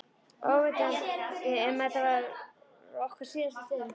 Óvitandi um að þetta var okkar síðasta stund.